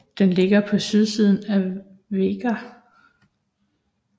Den ligger på sydsiden af Vágar